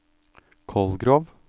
Kolgrov